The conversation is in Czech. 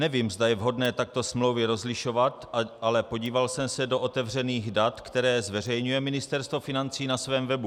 Nevím, zda je vhodné takto smlouvy rozlišovat, ale podíval jsem se do otevřených dat, která zveřejňuje Ministerstvo financí na svém webu.